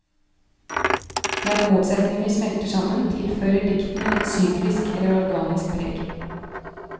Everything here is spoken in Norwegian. Det at motsetninger smelter sammen, tilfører diktene et syklisk eller organisk preg.